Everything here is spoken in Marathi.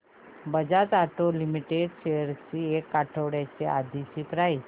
बजाज ऑटो लिमिटेड शेअर्स ची एक आठवड्या आधीची प्राइस